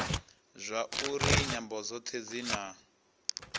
zwauri nyambo dzothe dzi na